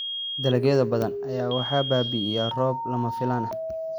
Dalagyo badan ayaa waxaa baabi'iyay roobab lama filaan ah.